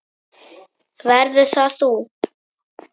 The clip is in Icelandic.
Verður það þú?